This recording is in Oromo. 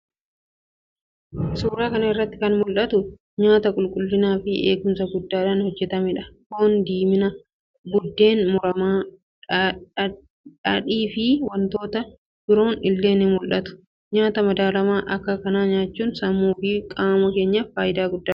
suuraa kana irratti kan mul'atu nyaata qulqullinaa fi eegumsa guddaadhaan hojjetamee dha. Foon diimina, biddeen muramaa, dhaadhii fi wantoonni biroon illee ni mul'atu. Nyaata madaalamaa akka kanaa nyaachuun sammuu fi qaama keenyaaf faayidaa hedduu qaba.